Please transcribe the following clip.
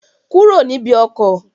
Kúrò níbi ọkọ̀!